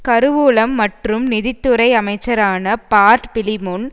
கருவூலம் மற்றும் நிதி துறை அமைச்சரான பார்ட் பிலிமொன்